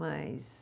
Mas